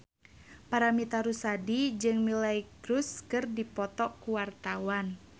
Paramitha Rusady jeung Miley Cyrus keur dipoto ku wartawan